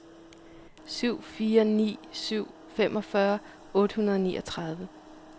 syv fire ni syv femogfyrre otte hundrede og niogtredive